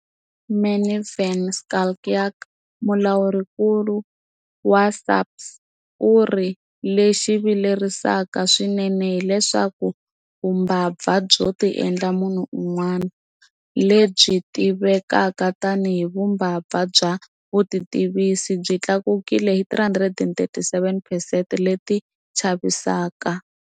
Manie van Schalkwyk, Mulawurinkulu wa SAFPS, u ri- Lexi vilerisaka swinene hileswaku vumbabva byo tiendla munhu un'wana - lebyi tivekaka tanihi vu mbabva bya vutitivisi - byi tlakukile hi 337 percent leti chavisaka.